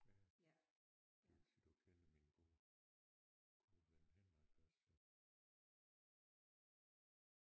Ja det vil sige du kender min gode gode ven Henrik også